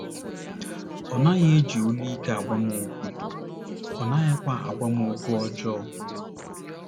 Ọ naghị eji olu ike agwa m okwu, ọ naghịkwa agwa m okwu ọjọọ. ”